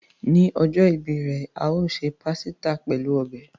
Ni ojo ìbí re, a o se pàsítà pelu ọbẹ̀.